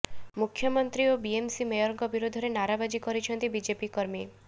ମୁଖ୍ୟମନ୍ତ୍ରୀ ଓ ବିଏମସି ମେୟରଙ୍କ ବିରୋଧରେ ନାରାବାଜି କରିଛନ୍ତି ବିଜେପି କର୍ମୀ